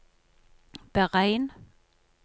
beregn